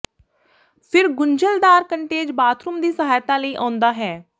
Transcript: ਫਿਰ ਗੁੰਝਲਦਾਰ ਕੰਟੇਜ ਬਾਥਰੂਮ ਦੀ ਸਹਾਇਤਾ ਲਈ ਆਉਂਦਾ ਹੈ